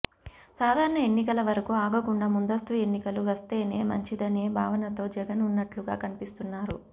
సాధారణ ఎన్నికల వరకు ఆగకుండా ముందస్తు ఎన్నికలు వస్తేనే మంచిదనే భావనతో జగన్ ఉన్నట్లుగా కనిపిస్తున్నారు